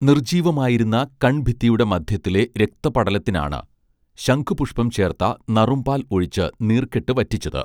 നിർജ്ജീവമായിരുന്ന കൺഭിത്തിയുടെ മദ്ധ്യത്തിലെ രക്തപടലത്തിനാണ് ശംഖുപുഷ്പം ചേർത്ത നറുംപാൽ ഒഴിച്ച് നീർകെട്ട് വറ്റിച്ചത്